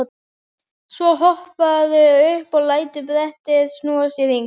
Svo hopparðu upp og lætur brettið snúast í hring.